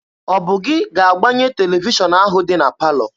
Ọ bụ gị ga-agbanye televishọn ahụ dị na palọ?